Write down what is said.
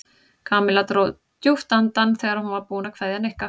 Kamilla dró djúpt andann þegar hún var búin að kveðja Nikka.